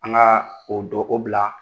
An ka o don o bila